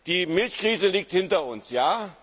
Die Milchkrise liegt hinter